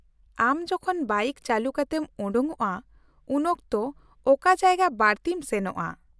-ᱟᱢ ᱡᱚᱠᱷᱚᱱ ᱵᱟᱭᱤᱠ ᱪᱟᱹᱞᱩ ᱠᱟᱛᱮᱢ ᱚᱰᱚᱠᱚᱜᱼᱟ, ᱩᱱᱚᱠᱛᱚ ᱚᱠᱟ ᱡᱟᱭᱜᱟ ᱵᱟᱹᱲᱛᱤᱢ ᱥᱮᱱᱚᱜᱼᱟ ?